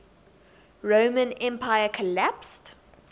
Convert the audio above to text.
roman empire collapsed